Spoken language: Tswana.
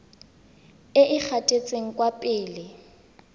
e e gatetseng kwa pele